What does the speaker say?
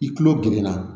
I kulo gerenna